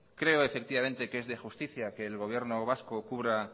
creo efectivamente que es de justicia que el gobierno vasco cubra